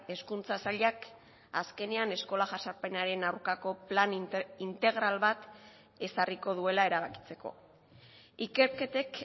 hezkuntza sailak azkenean eskola jazarpenaren aurkako plan integral bat ezarriko duela erabakitzeko ikerketek